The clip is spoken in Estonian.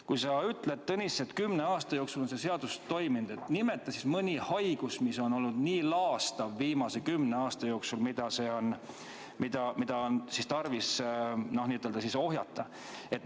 Kui sa ütled, Tõnis, et kümne aasta jooksul on see seadus toiminud, siis nimeta mõni haigus, mis on viimase kümne aasta jooksul olnud nii laastav ja mida on olnud tarvis ohjeldada.